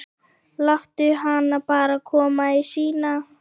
Láttu hana bara koma í símann.